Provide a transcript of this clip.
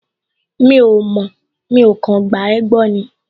Mi ò mọ̀, mi ò kàn gba ẹ́ gbọ́ ni